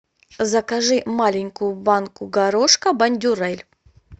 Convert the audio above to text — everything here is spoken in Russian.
закажи маленькую банку горошка бондюрэль